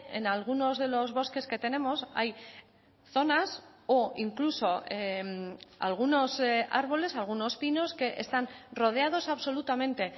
en algunos de los bosques que tenemos hay zonas o incluso algunos árboles algunos pinos que están rodeados absolutamente